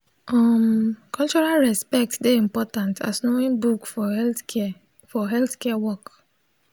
um cultural respect dey important as knowing book for healthcare for healthcare work